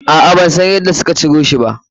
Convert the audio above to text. A'a, ban san yadda suka ciro shi ba.